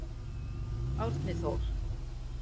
Árni Þór.